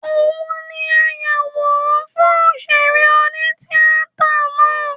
Òun ni ayàwòrán fún òṣèré oní-tíatà náà